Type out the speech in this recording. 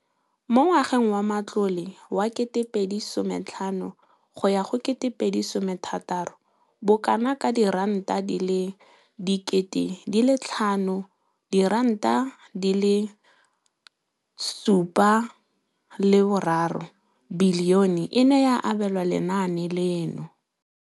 Mo ngwageng wa matlole wa 2015,16, bokanaka R5 703 bilione e ne ya abelwa lenaane leno.